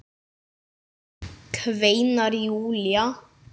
kveinar Júlía.